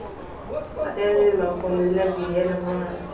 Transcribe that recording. তাতে এইবিলাক লগ সং এইবিলাক যিহে নহয়